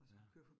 Ja